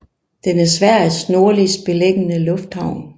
Den er Sveriges nordligst beliggende lufthavn